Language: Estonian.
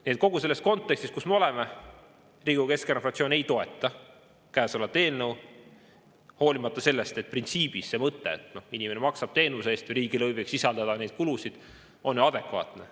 Nii et kogu selles kontekstis, kus me oleme, Riigikogu Keskerakonna fraktsioon ei toeta käesolevat eelnõu, hoolimata sellest, et printsiibina see mõte, et inimene maksab teenuse eest ja riigilõiv võiks sisaldada neid kulusid, on adekvaatne.